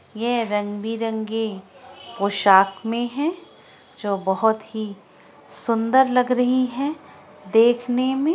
ये रंग-बिरंगी पोशाक में है जो बहुत ही सुन्दर लग रही है देखने में।